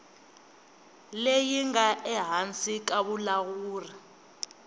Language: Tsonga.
leyi nga ehansi ka vulawuri